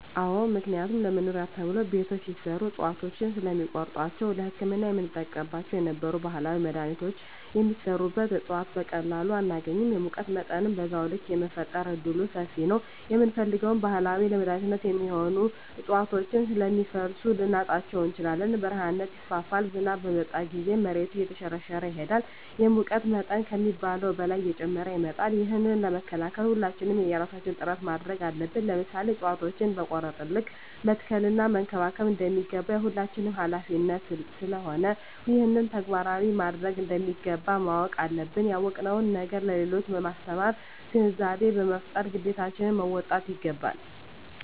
አዎ ምክንያቱም ለመኖሪያ ተብሎ ቤቶች ሲሰሩ እፅዋቶችን ስለሚቆርጧቸዉ ለህክምና የምንጠቀምባቸው የነበሩ ባህላዊ መድሀኒቶች የሚሰሩበት እፅዋት በቀላሉ አናገኝም የሙቀት መጠንም በዛዉ ልክ የመፈጠር እድሉምሰፊ ነዉ የምንፈልገዉን ባህላዊ ለመድኃኒትነት የሚሆኑ እፅዋቶችን ስለሚፈልሱ ልናጣቸዉ እንችላለን በረሀነት ይስፋፋል ዝናብ በመጣ ጊዜም መሬቱ እየተሸረሸረ ይሄዳል የሙቀት መጠን ከሚባለዉ በላይ እየጨመረ ይመጣል ይህንን ለመከላከል ሁላችንም የየራሳችን ጥረት ማድረግ አለብን ለምሳሌ እፅዋቶችን በቆረጥን ልክ መትከል እና መንከባከብ እንደሚገባ የሁላችንም ሀላፊነት ስለሆነ ይህንን ተግባራዊ ማድረግ እንደሚገባ ማወቅ አለብን ያወቅነዉን ነገር ለሌሎች በማስተማር ግንዛቤ በመፍጠር ግዴታችን መወጣት ይገባል